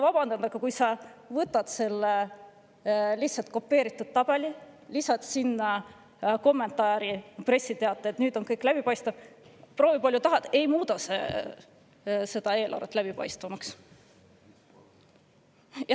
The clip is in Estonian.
" Vabandage, kui sa võtad selle kopeeritud tabeli, lisad sellele kommentaari, pressiteate, et nüüd on kõik läbipaistev, siis proovi palju tahad, aga see ei muuda eelarvet läbipaistvamaks.